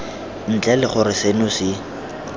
ntle le gore seno se